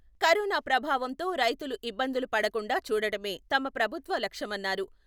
Corona ప్రభావంతో రైతులు ఇబ్బందులు పడకుండా చూడటమే తమ ప్రభుత్వ లక్ష్యమన్నారు.